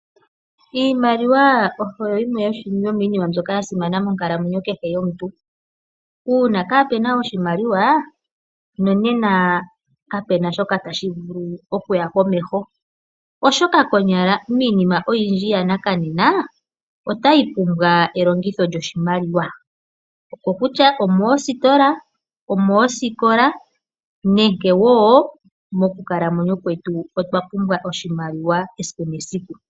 Iimaliwa oyo yimwe yomiinima mbyoka ya simana monkalamwenyo kehe yomuntu. Uuna kaape na oshimaliwa, nena kape na shoka tashi vulu okuya komeho, oshoka konyala miinima oyindji yanakadhina otayi pumbwa elongitho lyoshimaliwa, kokutya omoositola, omoosikola nenge wo moonkalamwenyo dhetu otwa pumbwa oshimaliwa esiku nesiku.